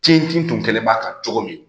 Kin tun kɛlen b'a kan cogo min